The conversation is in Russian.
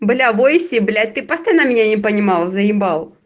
бля в войсе блять ты постоянно меня не понимал заебал